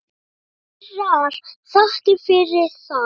Kærar þakkir fyrir það.